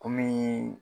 Kɔmi